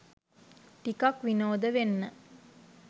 ටිකක් විනෝද වෙන්න